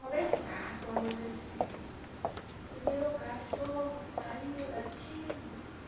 Roberto Carton, a música assim... O meu cachorro saiu latindo.